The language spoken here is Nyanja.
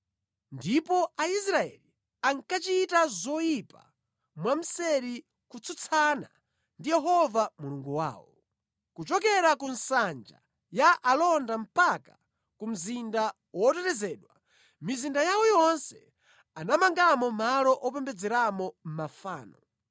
Ndipo Aisraeli ankachita zoyipa mwamseri kutsutsana ndi Yehova Mulungu wawo. Kuchokera ku nsanja ya alonda mpaka ku mzinda wotetezedwa, mʼmizinda yawo yonse anamangamo malo opembedzeramo mafano.